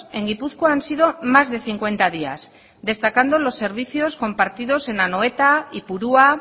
en gipuzkoa han sido más de cincuenta días destacando los servicios compartidos en anoeta ipurua